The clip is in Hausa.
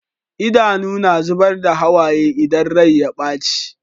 Idanu na zubar da hawaye idan Rai ya baci